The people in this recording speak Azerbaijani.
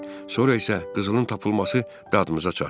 Sonra isə qızılın tapılması dadımıza çatdı.